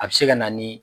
A bɛ se ka na ni